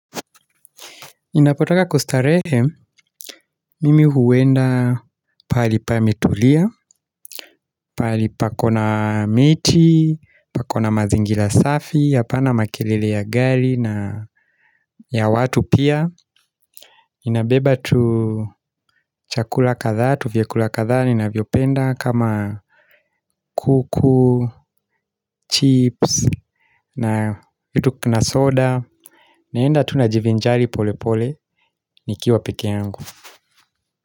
Ninapotaka kustarehe, mimi huenda pahali pametulia, pahali pako na miti, pako na mazingira safi, hapana makelele ya gari na ya watu pia. Inabeba tu chakula kadhaa, tu vyakula kadhaa ninavyopenda kama kuku, chips na kitu na soda. Naenda tu najivinjali pole pole nikiwa peke yangu.